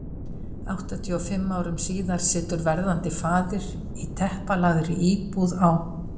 Áttatíu og fimm árum síðar situr verðandi faðir í teppalagðri íbúð á